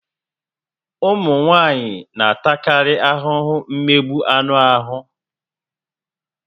Ụmụ nwaanyị n'atakarị ahụhụ mmegbu anụ ahụ